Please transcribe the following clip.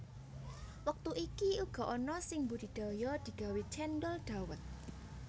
Wektu iki uga ana sing mbudidaya digawe cendhol dhawet